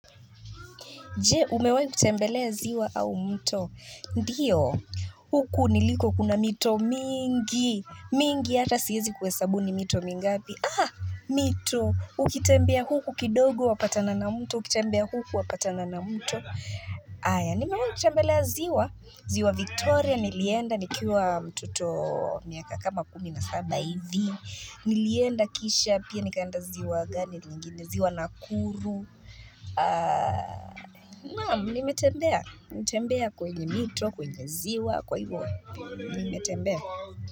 Jee, umewahi kutembelea ziwa au mto? Ndiyo, huku niliko kuna mito mingi. Mingi, hata siezi kuhesabu ni mito mingapi. Ah, mito. Ukitembea huku kidogo wapatana na mto. Ukitembea huku wapatana na mto. Aya, nimewai kutembelea ziwa. Ziwa Victoria, nilienda, nikiwa mtoto miaka kama kumi na saba hivi. Nilienda kisha, pia nikaenda ziwa gani, nyingine ziwa nakuru. Naam nime tembea tembea kwenye mito, kwenye ziwa Kwa hivyo, nime tembea.